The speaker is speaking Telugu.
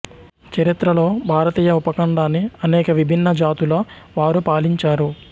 చరిత్రలో భారతీయ ఉపఖండాన్ని అనేక విభిన్న జాతుల వారు పాలించారు